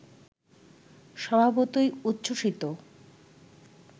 স্বভাবতই উচ্ছ্বসিত!